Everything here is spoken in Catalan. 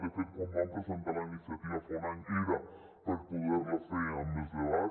de fet quan vam presentar la iniciativa fa un any era per poder la fer amb més debat